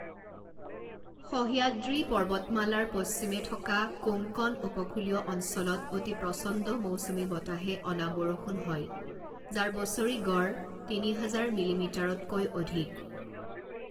সহ্যাদ্ৰী পৰ্বতমালাৰ পশ্চিমে থকা কোংকণ উপকূলীয় অঞ্চলত অতি প্ৰচণ্ড মৌচুমী বতাহে অনা বৰষুণ হয়, যাৰ বছৰি গড় তিনি হাজাৰ মিলিমিটাৰতকৈ অধিক।